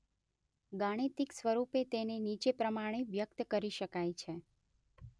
ગાણિતિક સ્વરૂપે તેને નીચે પ્રમાણે વ્યક્ત કરી શકાય છે.